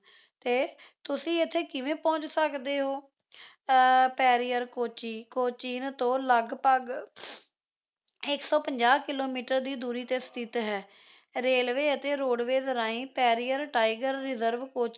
ਤੇ ਤੁਸੀਂ ਇੱਥੇ ਕਿਵੇਂ ਪਹੁੰਚ ਸਕਦੇ ਹੋ ਅ ਪੇਰੀਆਰ ਕੋੱਚੀ ਕੋੱਚੀ ਤੋਂ ਲਗਭਗ ਇੱਕ ਸੌ ਨਜਾਹ ਕਿੱਲੋਮੀਟਰ ਦੀ ਦੂਰੀ ਤੇ ਸਥਿਤ ਹੈ railways ਅਤੇ roadways ਰਾਹੀਂ ਪੇਰੀਆਰ tiger reserve ਕੋੱਚੀ